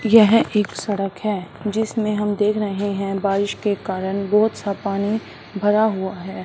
यह एक सड़क हैं जिसमें हम देख रहे हैं बारिश के कारण बहोतसा पानी भरा हुआ हैं।